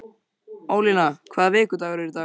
Ólína, hvaða vikudagur er í dag?